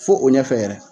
Fo o ɲɛfɛ yɛrɛ